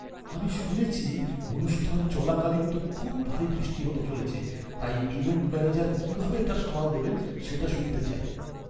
আমি শুনেছি অনুষ্ঠান চলাকালীন তো খুব ভারী বৃষ্টি হতে চলেছে, তাই, ইভেন্ট ম্যানেজার কীভাবে এটা সামাল দেবেন সেটা শুনতে চাই।